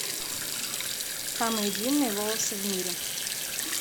самые длинные волосы в мире